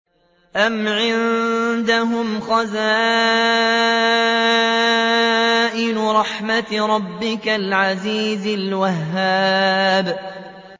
أَمْ عِندَهُمْ خَزَائِنُ رَحْمَةِ رَبِّكَ الْعَزِيزِ الْوَهَّابِ